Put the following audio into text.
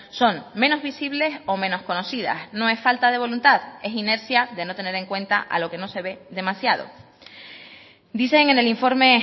son menos visibles o menos conocidas no es falta de voluntad es inercia de no tener en cuenta a lo que no se ve demasiado dicen en el informe